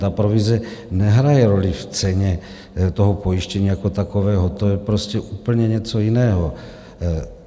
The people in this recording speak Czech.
Ta provize nehraje roli v ceně toho pojištění jako takového, to je prostě úplně něco jiného.